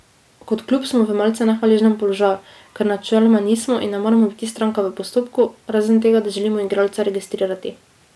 Kot klub smo v malce nehvaležnem položaju, ker načeloma nismo in ne moremo biti stranka v postopku, razen tega, da želimo igralca registrirati.